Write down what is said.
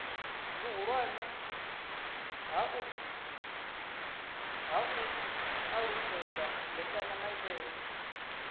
vhuhulwane ha u alutshedza mbekanyamaitele